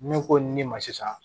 Ne ko ni ne ma sisan